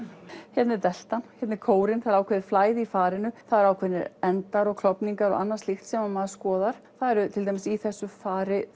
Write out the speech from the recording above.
hérna er hérna er kórinn það er ákveðið flæði í farinu það eru ákveðnir endar og klofningar og annað slíkt sem maður skoðar það eru til dæmis í þessu fari